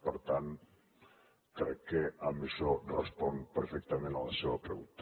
per tant crec que amb això responc perfectament a la seva pregunta